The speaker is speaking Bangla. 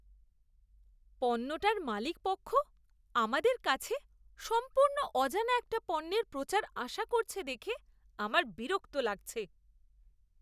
পণ্যটার মালিকপক্ষ আমাদের কাছে সম্পূর্ণ অজানা একটা পণ্যের প্রচার আশা করছে দেখে আমার বিরক্ত লাগছে।